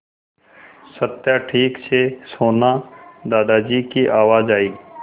सत्या ठीक से सोना दादाजी की आवाज़ आई